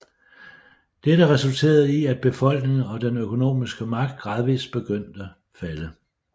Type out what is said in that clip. Dette resulterede i at befolkning og den økonomisk magt gradvist begyndte falde